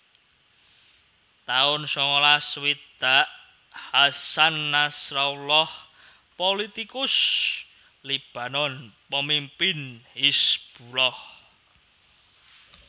taun sangalas swidak Hasan Nasrallah pulitikus Libanon pamimpin Hizbullah